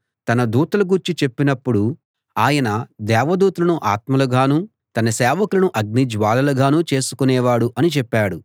తన దూతల గూర్చి చెప్పినప్పుడు ఆయన దేవదూతలను ఆత్మలుగానూ తన సేవకులను అగ్ని జ్వాలలుగానూ చేసుకునేవాడు అని చెప్పాడు